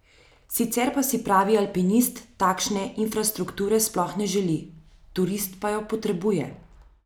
Sicer pa si pravi alpinist takšne infarstrukture sploh ne želi, turist pa jo potrebuje.